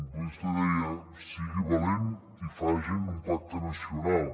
vostè deia sigui valent i facin un pacte nacional